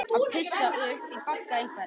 Að pissa upp í bagga einhvers